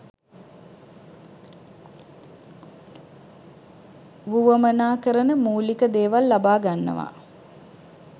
වුවමනා කරන මූලික දේවල් ලබා ගන්නවා.